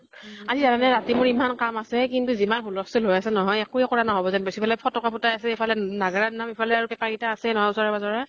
আজি জান নে ৰাতি মোৰ ইমান কাম আছে । কিন্তু যিমান হুলস্তুল হৈ আছে নহয়, একুৱে কৰা নহʼব যেন পাইছো । ইফালে ফতকা ফুটাই আছে । ইফালে নাগ্ৰা নাম । ইফালে আৰু পেপা কেইটা আছেই নহৈ ওচৰে পাজৰে ।